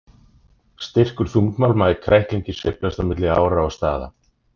Styrkur þungmálma í kræklingi sveiflast á milli ára og staða.